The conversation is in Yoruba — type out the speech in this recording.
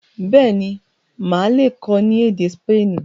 béèni Má le kọ ní èdè Spani.